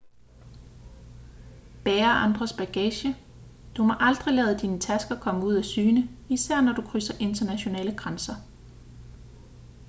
bære andres bagage du må aldrig lade dine tasker komme ud af syne især når du krydser internationale grænser